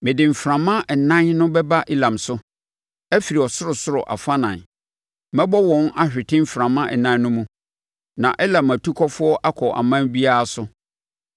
Mede mframa ɛnan no bɛba Elam so afiri ɔsorosoro afanan; mɛbɔ wɔn ahwete mframa ɛnan no mu, na Elam atukɔfoɔ akɔ ɔman biara so.